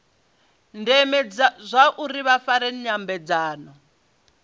ndeme zwauri vha fare nyambedzano